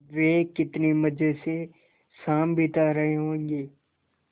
वे कितने मज़े से शाम बिता रहे होंगे